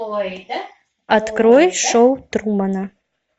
открой шоу трумана